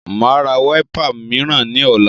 Màá ra wiper mìíràn ní ọ̀la